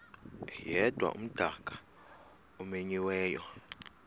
yedwa umdaka omenyiweyo